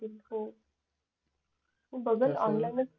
हो बघन ऑनलाईनच घेईन